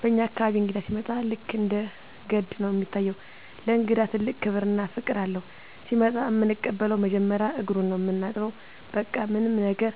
በኛ አካባቢ እንግዳ ሲመጣ ልክ እንደ ገድ ነው እሚታየው። ለእንግዳ ትልቅ ክብር እና ፍቅር አለው። ሲመጣ እምንቀበለው መጀመሪያ እግሩን ነው ምናጥበው በቃ ምንም ነገር